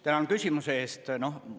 Tänan küsimuse eest!